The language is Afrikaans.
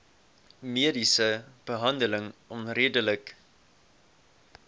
mediese behandeling onredelik